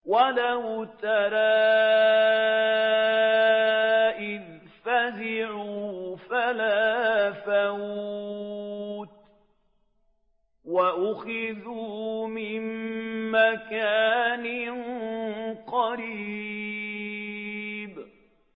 وَلَوْ تَرَىٰ إِذْ فَزِعُوا فَلَا فَوْتَ وَأُخِذُوا مِن مَّكَانٍ قَرِيبٍ